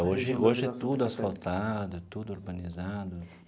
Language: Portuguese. Hoje hoje é tudo asfaltado, tudo urbanizado.